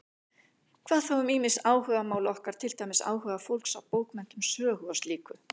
Hvað þá um ýmis áhugamál okkar, til dæmis áhuga fólks á bókmenntum, sögu og slíku?